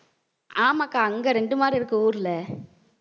ஆமாக்கா அங்க ரெண்டு மாடு இருக்கு ஊர்ல